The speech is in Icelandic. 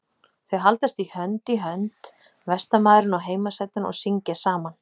Þau haldast hönd í hönd vestanmaðurinn og heimasætan og syngja saman.